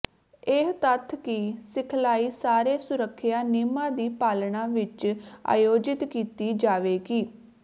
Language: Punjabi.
ਇਹ ਤੱਥ ਕਿ ਸਿਖਲਾਈ ਸਾਰੇ ਸੁਰੱਖਿਆ ਨਿਯਮਾਂ ਦੀ ਪਾਲਣਾ ਵਿਚ ਆਯੋਜਿਤ ਕੀਤੀ ਜਾਵੇਗੀ